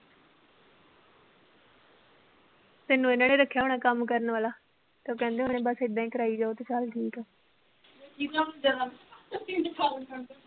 ਤੈਨੂੰ ਇਹਨਾਂ ਨੇ ਰੱਖਿਆ ਹੋਣਾ ਕੰਮ ਕਰਨ ਵਾਲਾ ਤੇ ਉਹ ਕਹਿੰਦੇ ਹੋਣੇ ਬਸ ਏਦਾਂ ਹੀ ਕਰਾਈ ਜਾਓ ਤੇ ਚੱਲ ਠੀਕ ਆ